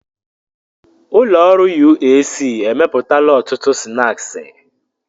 Ụlọ ọrụ UAC emepụtala ọtụtụ snaaskị.